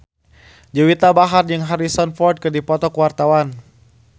Juwita Bahar jeung Harrison Ford keur dipoto ku wartawan